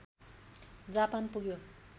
Japan पुग्यो